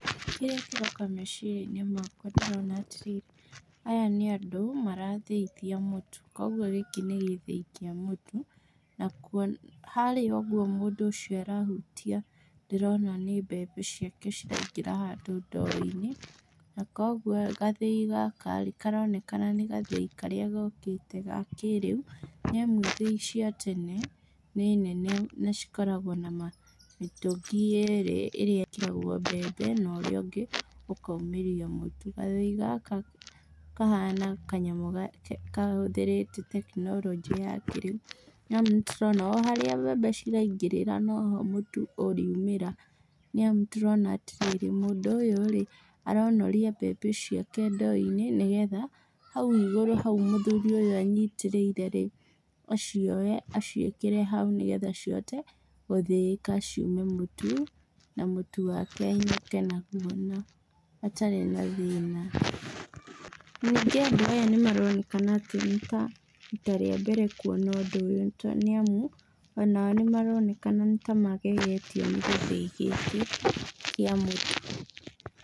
Kĩrĩa kĩroka meciria-inĩ makwa ndĩrona atĩrĩ, aya nĩ andũ marathĩithia mũtu, koguo gĩkĩ nĩ gĩthĩi kĩa mũtu, na kuo harĩa ũguo mũndũ ũcio arahutia ndĩrona nĩ mbembe ciake ciraingĩra handũ ndoo-inĩ, na koguo gathĩi gaka rĩ, karonekana nĩ gathĩi karĩa gokĩte ga kĩĩrĩu, nĩamu ithĩi cia tene nĩ nene na cikoragwo nama, mĩtũngi yerĩ ĩrĩa ĩkĩragwo mbembe na ĩrĩa ĩngĩ ĩkaumĩria mũtu bathĩi gaka, kahana kanyamũ kahũthĩrĩtetekinoronjĩ ya kĩrĩu na nĩtũrona o harĩa mbembe ciraingĩrĩra noho mũtu ũriumĩra, nĩamu ndĩrona atĩ mũndũ ũyũ rĩ, aronoria mbembe icio tũ ndoo-inĩ nĩgetha hau igũrũ hau mũthuri ũyũ enyitĩrĩire rĩ, acioe aciĩkĩre hau nĩgetha cihote gũthĩĩka ciume mũtu, na mũtu wake ainũke naguo na atarĩ na thĩna, ningĩ ũndũ ũyũ nĩmaroneka nĩta, rita rĩa mbere kuona ũndũ ũyũ to nĩamu, onao nĩmaroneka nĩtamagegetio nĩ gĩthĩi gĩkĩ kĩa mũtu.